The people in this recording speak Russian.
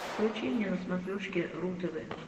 включи мне на смотрешке ру тв